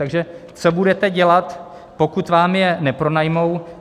Takže co budete dělat, pokud vám je nepronajmou.